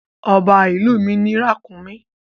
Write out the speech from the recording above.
Ọba ìlú mi ní ràkúnmí.